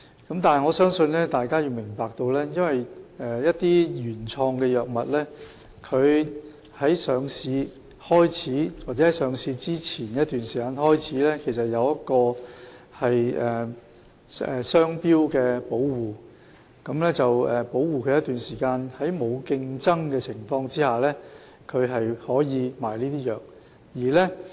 可是，我想大家有需要明白，一些原創藥物自上市或上市前一段時間起，會受到商標保護，讓藥廠可在一段時間內，在沒有競爭的情況下售賣有關藥物。